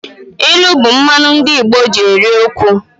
Ilu bụ mmanụ ndị Igbo ji eri okwu